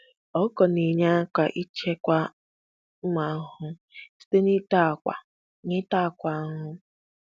um Ọkụkọ na-enye aka ịchịkwa ụmụ ahụhụ site na-ịta akwa na-ịta akwa ahụhụ